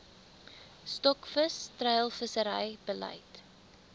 stokvis treilvissery beleid